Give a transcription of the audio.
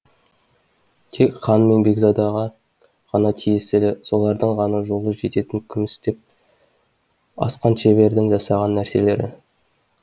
тек хан мен бекзадаға ғана тиесілі солардың ғана жолы жететін күмістеп асқан шебердің жасаған нәрселері